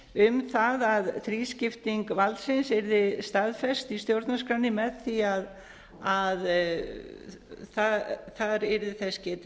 um það að þrískipting valdsins yrði staðfest í stjórnarskránni með því að þar yrði þess